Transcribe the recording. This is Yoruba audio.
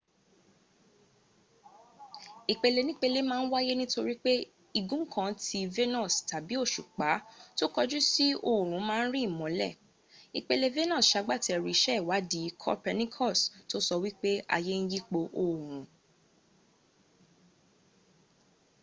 ìpelenípele ma ń wáyé nítorí pé igun kan ti venus tàbí ti òṣùpá tó kọjú sí òòrùn ma ń rí ìmọ́lẹ̀. ìpele venus sagbátẹrù iṣẹ́ ìwádìí copernicus tó sọ wípé ayé ń yípo òòrùn